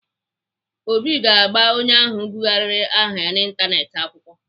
Obi ga-agba onye ahụ bụgharịrị aha ya n'Ịntanetị akwụkwọ.